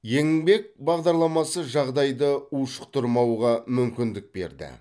еңбек бағдарламасы жағдайды ушықтырмауға мүмкіндік берді